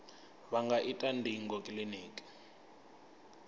vha nga ita ndingo kiliniki